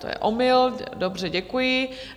To je omyl, dobře, děkuji.